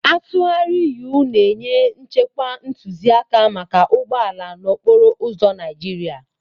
atụgharị-U na-enye nchekwa ntụzịaka maka ụgbọ ala n'okporo ụzọ Naịjirịa.